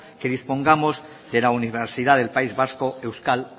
que dispongamos de la universidad del país vasco euskal